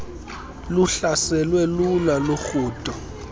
luhlaselwe lula lurhudo